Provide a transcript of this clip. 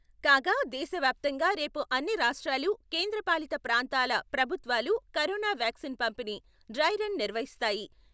కాగా దేశ వ్యాప్తంగా రేపు అన్ని రాష్ట్రాలు, కేంద్రపాలిత ప్రాంతాల ప్రభుత్వాలు కొరోనా వ్యాక్సిన్ పంపిణీ డ్రై రన్ నిర్వహిస్తాయి.